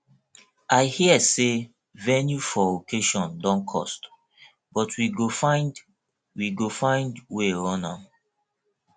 i hear sey venue for occasion don cost but we go find we go find wey run am